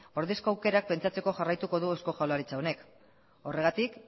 ordezko aukerak pentsatzen jarraituko du eusko jaurlaritza honek horregatik